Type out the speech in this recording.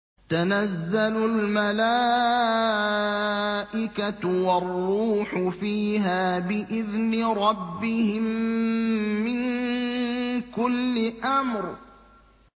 تَنَزَّلُ الْمَلَائِكَةُ وَالرُّوحُ فِيهَا بِإِذْنِ رَبِّهِم مِّن كُلِّ أَمْرٍ